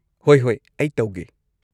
ꯍꯣꯏ ꯍꯣꯏ ꯑꯩ ꯇꯧꯒꯦ꯫